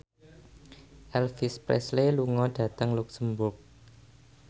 Elvis Presley lunga dhateng luxemburg